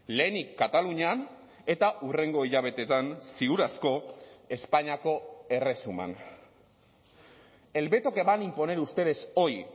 lehenik katalunian eta hurrengo hilabeteetan ziur asko espainiako erresuman el veto que van a imponer ustedes hoy